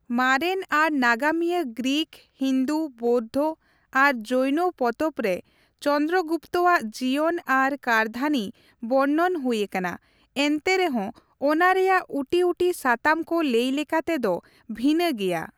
ᱢᱟᱨᱮᱱ ᱟᱨ ᱱᱟᱜᱟᱢᱤᱭᱟᱹ ᱜᱨᱤᱠ, ᱦᱤᱱᱫᱩ, ᱵᱳᱣᱫᱷᱚ ᱟᱨ ᱡᱚᱭᱱᱚ ᱯᱚᱛᱚᱵ ᱨᱮ ᱪᱚᱱᱫᱨᱚᱜᱩᱯᱛᱚᱼᱟᱜ ᱡᱤᱭᱚᱱ ᱟᱨ ᱠᱟᱹᱨᱫᱷᱟᱹᱱᱤ ᱵᱚᱨᱱᱚᱱ ᱦᱩᱭᱟᱠᱟᱱᱟ, ᱮᱱᱛᱮ ᱨᱮᱦᱚᱸ ᱚᱱᱟ ᱨᱮᱭᱟᱜ ᱩᱴᱤᱩᱴᱤ ᱥᱟᱛᱟᱢ ᱠᱚ ᱞᱟᱹᱭ ᱞᱮᱠᱟᱛᱮ ᱫᱚ ᱵᱷᱤᱱᱟᱹ ᱜᱮᱭᱟ ᱾